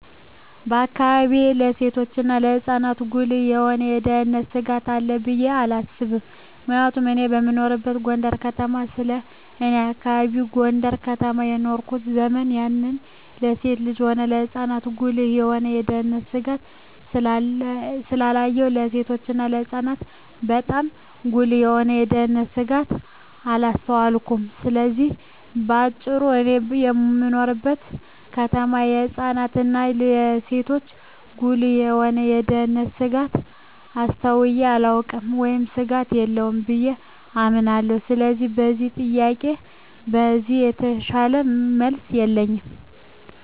በአካባቢየ ለሴቶችና ለህጻናት ጉልህ የሆነ የደህንነት ስጋት አለ ብየ አላስብም ምክንያቱም እኔ እምኖረው ጎንደር ከተማ ስለሆነ በኔ አካባቢ ጎንደር ከተማ በኖርኩበት ዘመን ያየሁን ለሴትም ሆነ ለህጻን ጉልህ የሆነ የደህንነት ስጋት ስላላየሁ ለሴቶችና ለህጻናት ባጣም ጉልህ የሆነ የደንነት ስጋት አላስተዋልኩም ስለዚህ በአጭሩ እኔ በምኖርበት ከተማ ለህጻናት እና ለሴቶች ጉልህ የሆነ የደህንነት ስጋት አስተውየ አላውቅም ወይም ስጋት የለም ብየ አምናለሁ ስለሆነም ለዚህ ጥያቄ ከዚህ የተሻለ መልስ የለኝም።